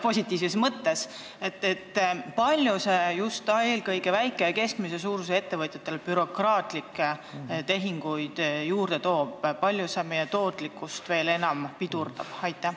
Kui palju see toob juurde bürokraatlikke tehinguid eelkõige väike- ja keskmise suurusega ettevõtjatele ning veel enam meie tootlikkust pidurdab?